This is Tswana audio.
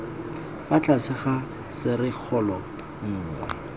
fa tlase ga serisikgolo nngwe